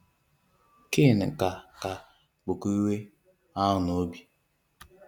Cain ka ka bụkwa iwe ahụ n’obi.